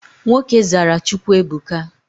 Nwoke zara Chukwuebuka.